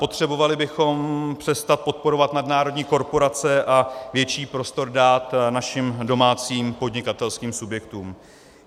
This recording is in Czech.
Potřebovali bychom přestat podporovat nadnárodní korporace a větší prostor dát našim domácím podnikatelským subjektům.